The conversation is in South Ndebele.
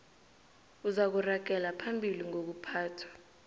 uzakuragela phambili ngokuphathwa